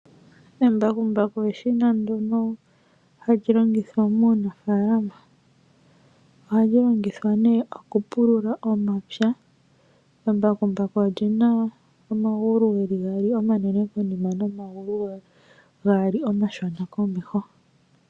Embakumbaku eshina ndyoka hali longithwa muunafalama oha li longithwa nee okupulula omapya. Embakumbaku olyi na omagulu gaali omanene konima nomagulu gaali omashona komehe.